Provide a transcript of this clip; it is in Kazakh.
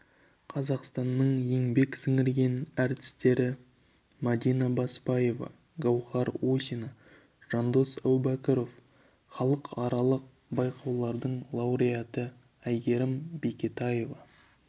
қазақстанның еңбек сіңірген әртістері мәдина баспаева гауһар усина жандос әубәкіров халықаралық байқаулардың лауреаты әйгерім бекетаева